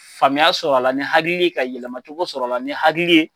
Faamuyaya sɔrɔ a la ni hakili ka yɛlɛmacogo sɔrɔ a la ni hakili ye